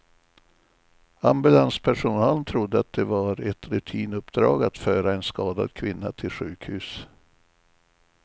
Ambulanspersonalen trodde att det var ett rutinuppdrag att föra en skadad kvinna till sjukhus.